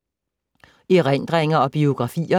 Erindringer og biografier